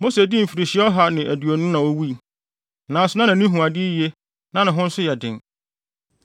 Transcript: Mose dii mfirihyia ɔha ne aduonu na owui, nanso na nʼani hu ade yiye na ne ho nso yɛ den.